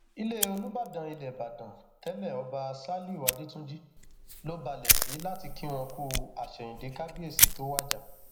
ilé olùbàdàn ilẹ ìbàdàn tẹlé ọba ṣálíù adẹtúnjì ló balẹ sí láti kí wọn kú àsẹyìndẹ kábíyèsí tó wájà